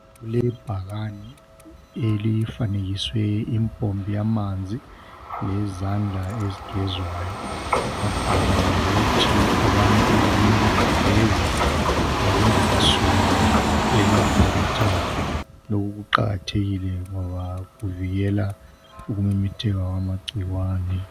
kulebhakane elifanekiswe impompi yamanzi lezandla ezigezwayo kwabhalwa ngokuthi abantu kumele begeze bengakasuki e laboratory lokhu kuqakathekile ngoba kuvikela ukumemetheka kwamagcikwane